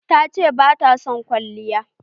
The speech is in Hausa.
Ta ce bata son kwalliya.